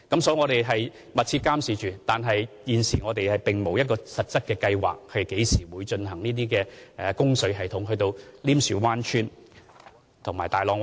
所以，我們會密切監察情況，但現時並無實質計劃將供水系統伸延至稔樹灣村和大浪村。